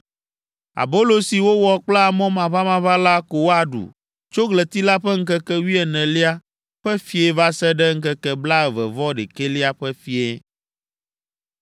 Abolo si wowɔ kple amɔ maʋamaʋã la ko woaɖu tso ɣleti la ƒe ŋkeke wuienelia ƒe fiẽ va se ɖe ŋkeke blaeve-vɔ-ɖekɛlia ƒe fiẽ.